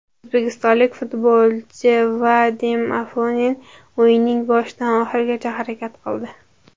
O‘zbekistonlik futbolchi Vadim Afonin o‘yinning boshidan oxirigacha harakat qildi.